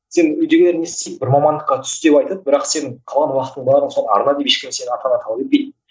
сен үйдегілер не істейді бір мамандыққа түс деп айтады бірақ сен қалған уақыттың барлығын соған арна деп ешкім сенен ата ана талап етпейді